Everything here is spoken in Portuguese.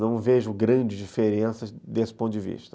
Não vejo grandes diferenças desse ponto de vista.